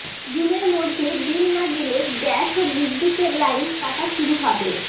জুনের মধ্যে বিল না দিলে গ্যাস ও বিদ্যুতের লাইন কাটা শুরু হবে